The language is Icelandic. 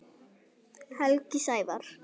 Helgi Sævar.